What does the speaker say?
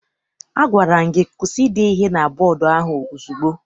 A gwara m gị kwụsị ide ihe na bọdu ahụ ozugbo!